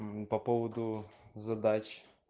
по поводу задач